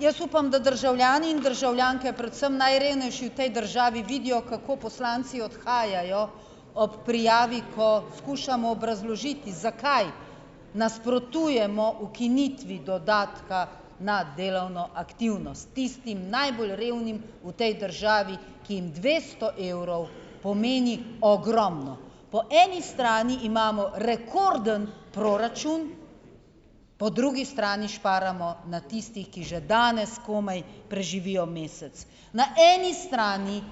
Jaz upam, da državljani in državljanke, predvsem najrevnejši v tej državi vidijo, kako poslanci odhajajo ob prijavi, ko skušamo obrazložiti, zakaj nasprotujemo ukinitvi dodatka na delovno aktivnost tistim najbolj revnim v tej državi, ki jim dvesto evrov pomeni ogromno. Po eni strani imamo rekorden proračun, po drugi strani šparamo na tistih, ki že danes komaj preživijo mesec. Na eni strani